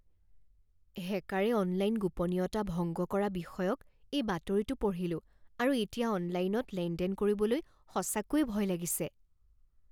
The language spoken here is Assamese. হেকাৰে অনলাইন গোপনীয়তা ভংগ কৰা বিষয়ক এই বাতৰিটো পঢ়িলোঁ আৰু এতিয়া অনলাইনত লেনদেন কৰিবলৈ সঁচাকৈয়ে ভয় লাগিছে।